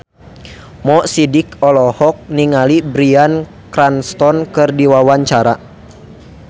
Mo Sidik olohok ningali Bryan Cranston keur diwawancara